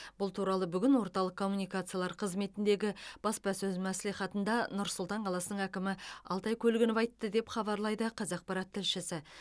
бұл туралы бүгін орталық коммуникациялар қызметіндегі баспасөз мәслихатында нұр сұлтан қаласының әкімі алтай көлгінов айтты деп хабарлайды қазақпарат тілшісі